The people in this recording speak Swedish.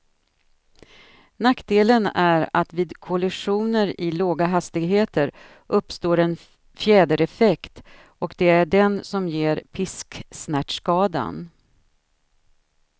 Nackdelen är att vid kollisioner i låga hastigheter uppstår en fjädereffekt, och det är den som ger pisksnärtskadan.